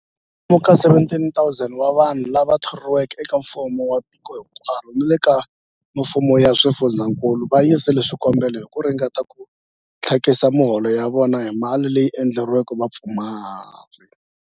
Kwalomu ka 17,000 wa vanhu lava thoriweke eka mfumo wa tiko hinkwaro ni le ka mifumo ya swifundzankulu va yisile swikombelo hi ku ringeta ku tlakusa miholo ya vona hi mali leyi endleriweke vapfumari.